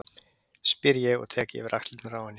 spyr ég og tek yfir axlirnar á henni.